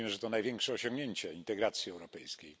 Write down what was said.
Mówimy, że to największe osiągnięcie integracji europejskiej.